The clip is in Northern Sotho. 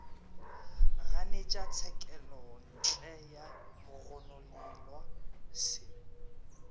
ganetša tshekelontle ya mogononelwa se